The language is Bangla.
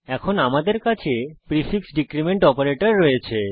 এখন আমাদের কাছে প্রিফিক্স ডীক্রীমেন্ট অপারেটর রয়েছে